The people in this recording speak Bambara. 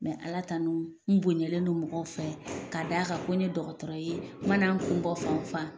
alatanu n' bonyaɲɛlen don mɔgɔw fɛ ka'a da'a kan ko ye dɔgɔtɔrɔ ye manan kun bɔ fan o fan.